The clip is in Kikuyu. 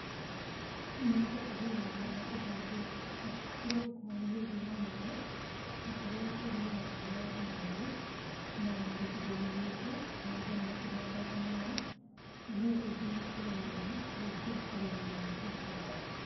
‎Mĩanga ĩrĩmagwo na kũhandwo kũrĩa gũkuhanĩrĩirie na maĩ, ta kũrĩa kũrĩ na mĩtaro ya maĩ, na gĩcigo-inĩ gĩkĩ, mĩanga nĩyo ĩhandagwo mũno na nĩyo ĩngĩhokerwo mũno, gũkĩra ũrĩmi wa gĩkwa